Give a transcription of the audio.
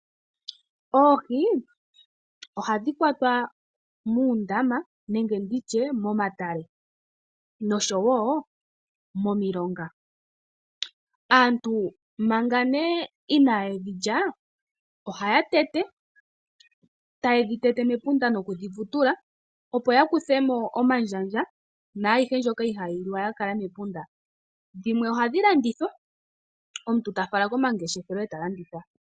Oohi ohadhi kwatwa muundama nenge nditye momatale nosho woo momilonga. aantu manga nee inaye dhilya ohaya tete taye dhi tete mepunda noku dhi vutula opo ya kuthemo omandjandja naayihe nzoka ihayi liwa ya kala mepunda, dhimwe ohadhi landithwa omuntu tafala komangeshefelo eta landitha.